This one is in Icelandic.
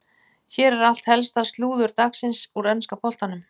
Hér er allt helsta slúður dagsins úr enska boltanum.